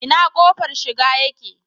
Ina kofar shiga yake?